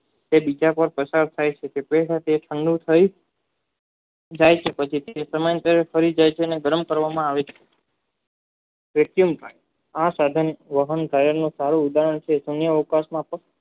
કે બીજા પસાર થઈ છે જે તે સાથે અણુ થઈ તેને ગરમ કરવામાં આવે છે વેક્યુમ આ સાધન વાહન તેના વિકાસ માં પણ